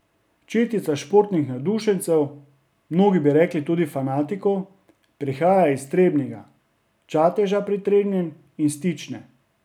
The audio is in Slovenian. Četica športnih navdušencev, mnogi bi rekli tudi fanatikov, prihaja iz Trebnjega, Čateža pri Trebnjem in Stične.